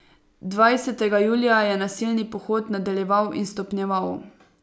Dvajsetega julija je nasilni pohod nadaljeval in stopnjeval.